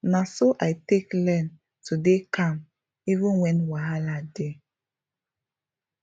na so i take learn to dey calm even when wahala dey